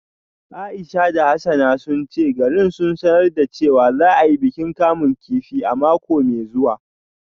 Aisha da Hassana sun ce garin sun sanar da cewa za a yi bikin kamun kifi a mako mai zuwa